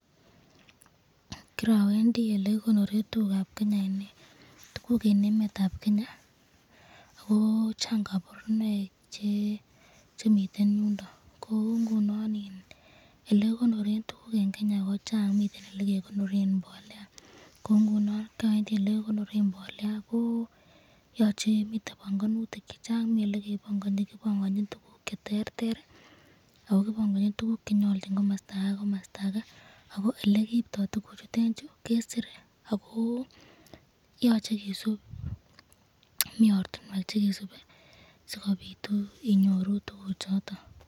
Korowendi olekikonoren tukukab Kenya, tukuk en emetab Kenya AK ko chang koborunoik chemiten yuu niton kouu ng'unon elee kikonoren tukuk en Kenya kochang, miten else kekonoren mbolea kou ng'unon kiowendi elee kikonoren mbolea ak ko yoche komii bong'onutik chechang mii elee kebong'oni kibong'onchin tukuk cheterter ak ko kibong'onchin tukuk chenyolu en komosto ak ketukul kora a ko elekiribto tukuchutet kesiree ak koyoche kisip mii ortinwek cheyoche kisip sikobiit inyoru tukuchoton.